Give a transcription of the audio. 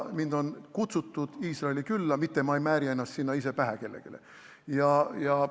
Mind on Iisraeli külla kutsutud, ma ei määri ennast seal ise kellelegi pähe.